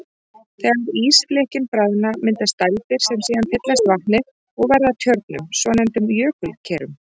Þegar ísflikkin bráðna myndast dældir sem síðan fyllast vatni og verða að tjörnum, svonefndum jökulkerum.